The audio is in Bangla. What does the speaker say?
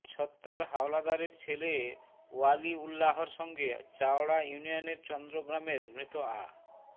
ছত্তার হাওলাদারের ছেলে ওয়ালিউল্লাহর সঙ্গে চাওড়া ইউনিয়নের চন্দ্র গ্রামের মৃত আ